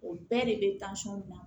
O bɛɛ de bɛ bila